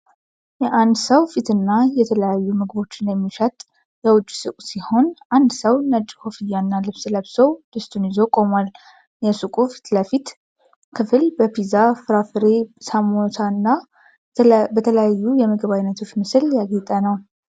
የአንድ ሰው ፊትና የተለያዩ ምግቦችን የሚሸጥ የውጪ ሱቅ ሲሆን አንድ ሰው ነጭ ኮፍያና ልብስ ለብሶ፣ ድስቱን ይዞ ቆሟል። የሱቁ የፊት ለፊት ክፍል በፒዛ፣ ፍራፍሬ፣ ሳሞሳና በሌሎች የምግብ አይነቶች ምስሎች ያጌጠ ነው።